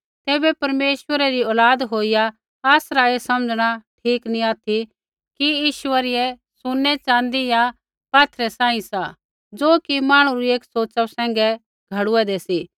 तैबै परमेश्वरै री औलाद होईया आसरा ऐ समझ़णा ठीक नी ऑथि कि ईश्वरीय सुनैरूपै या पात्थरै रै समान सा ज़ो कि मांहणु री एक सोच़ा सैंघै घड़ूऐदै सी